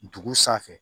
Dugu sanfɛ